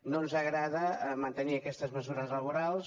no ens agrada mantenir aquestes mesures laborals